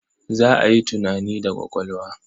Za a yi tunani da ƙwaƙwalwa.